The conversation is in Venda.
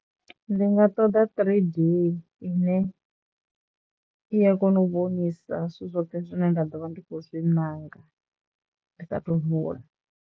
Ndi nga ṱoḓa three D ine i ya kona u vhonisana zwithu zwoṱhe zwine nda ḓo vha ndi khou zwi maṋanga ndi sa thu vuwa.